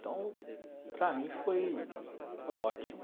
Então, para mim foi foi ótimo.